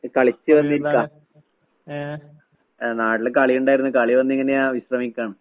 ഏഹ് നാട്ടില് കളിയിണ്ടായിരുന്ന് കളികഴിഞ്ഞിങ്ങനെയാ വിശ്രമിക്കാണ്.